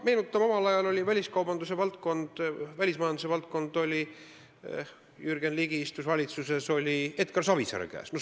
Meenutame, et omal ajal oli väliskaubandusvaldkond, kui Jürgen Ligi istus valitsuses, Edgar Savisaare käes.